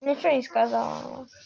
ни чего не сказала